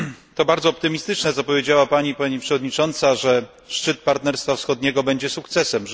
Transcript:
To bardzo optymistyczne, co powiedziała Pani Przewodnicząca, że szczyt Partnerstwa Wschodniego będzie sukcesem.